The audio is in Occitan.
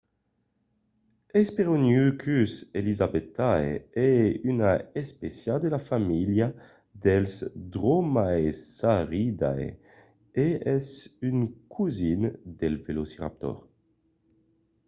hesperonychus elizabethae es una espécia de la familha dels dromaeosauridae e es un cosin del velociraptor